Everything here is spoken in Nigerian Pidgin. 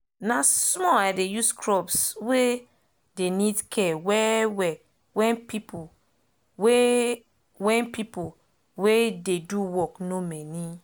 na small i dey use crops wey dey need care well well wen pipo wey wen pipo wey dey do work nor many